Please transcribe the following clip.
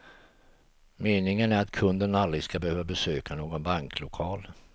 Meningen är att kunden aldrig ska behöva besöka någon banklokal.